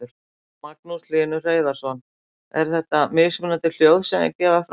Magnús Hlynur Hreiðarsson: Eru þetta mismunandi hljóð sem þeir gefa frá sér?